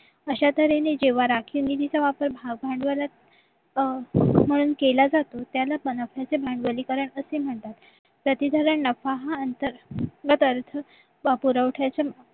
अशा तऱ्हेने जेव्हा राखीवनीतीचा वापर भांडवलात अं भांडवल केला जातो त्याला पण आपण भांडवलीकरण असे म्हणतात प्रती धरण अर्थ पुरवठ्याचे